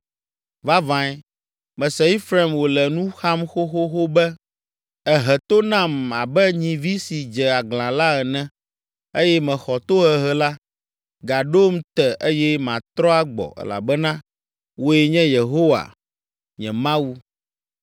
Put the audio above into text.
“Vavãe, mese Efraim wòle nu xam xoxoxo be: ‘Èhe to nam abe nyivi si dze aglã la ene eye mexɔ tohehe la. Gaɖom te eye matrɔ agbɔ elabena wòe nye Yehowa nye Mawu.